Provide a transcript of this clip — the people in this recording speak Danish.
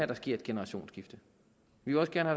der sker et generationsskifte vi vil også gerne